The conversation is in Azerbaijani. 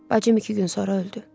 Bacım iki gün sonra öldü.